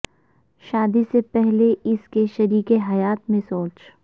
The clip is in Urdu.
شادی سے پہلے اس کے شریک حیات میں سوچ